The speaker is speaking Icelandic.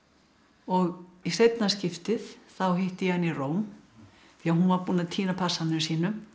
og í seinna skiptið hitti ég hana í Róm því hún var búin að týna passanum sínum